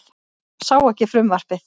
Sá ekki frumvarpið